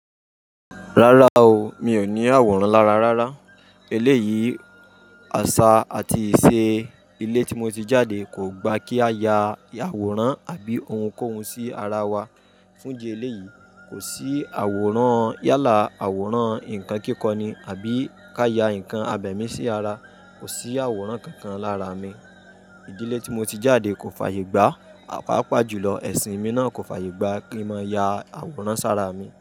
Rárá o mi ò ní àwòrán lára rárá. Eléyìí, àṣà àti ìṣe ilé tí mo ti jáde kò gba kí a ya àwòrán àbí ohun kóhun sí ara wa. Fún ìdí eleyi, kò sí àwòrán yálà, àwòrán nǹkan kíkọ ni àbí ká ya ǹkan abẹ̀mí sí ara. Kò sí àwòrán kankan lára mi. Ìdílé tí mo ti jáde kò fàyè gba papa jùlọ ẹ̀sìn mi náà kò fàyè gba kí n máa ya àwòrán sára mi.